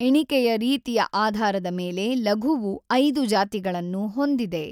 ಎಣಿಕೆಯ ರೀತಿಯ ಆಧಾರದ ಮೇಲೆ ಲಘುವು ಐದು ಜಾತಿಗಳನ್ನು ಹೊಂದಿದೆ.